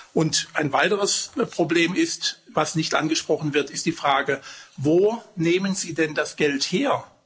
Und ein weiteres Problem, das nicht angesprochen wird, ist die Frage Wo nehmen Sie denn das Geld her?